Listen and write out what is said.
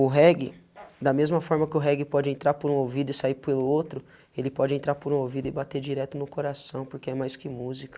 O reggae, da mesma forma que o reggae pode entrar por um ouvido e sair pelo outro, ele pode entrar por um ouvido e bater direto no coração, porque é mais que música.